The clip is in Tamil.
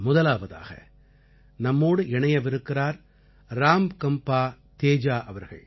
முதலாவதாக நம்மோடு இணையவிருக்கிறார் ராம்கம்பா தேஜா அவர்கள்